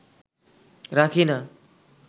রাখি না